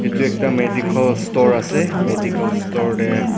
etu ekta medical store ase medical store teh--